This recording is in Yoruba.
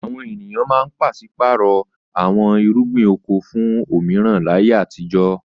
Àwọn ènìyàn máa ń pàṣí-pààrọ̀ àwọn irúgbìn oko fún òmíràn láyé àtijọ́.